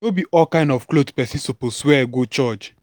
no be all kind cloth pesin suppose wear go church.